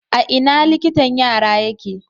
A ina liktan yara yake?